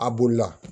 A bolila